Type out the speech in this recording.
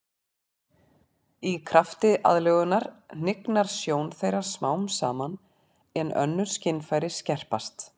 Í krafti aðlögunar hnignar sjón þeirra smám saman en önnur skynfæri skerpast.